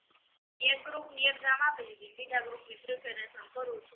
એક group ની exam આપી દીધી બીજા group ની preparation કરું છું